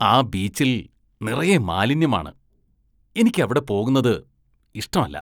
ആ ബീച്ചില്‍ നിറയെ മാലിന്യമാണ്, എനിക്കവിടെ പോകുന്നത് ഇഷ്ടമല്ല.